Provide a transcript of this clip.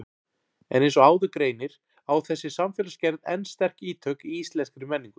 En eins og áður greinir á þessi samfélagsgerð enn sterk ítök í íslenskri menningu.